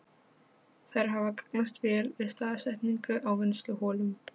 Þær hafa gagnast vel við staðsetningu á vinnsluholum.